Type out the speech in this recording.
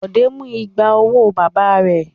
Bọ̀dé mú igba owó bàbá rẹ̀.